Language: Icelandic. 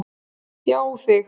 Já, þig.